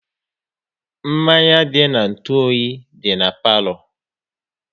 Mmanya dị n'ntu oyi dị na palo